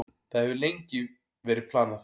Það hefur verið lengi planið.